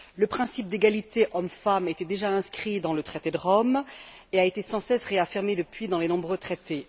Le principe d'égalité hommes femmes était déjà inscrit dans le traité de Rome et a été sans cesse réaffirmé depuis, dans les nombreux traités.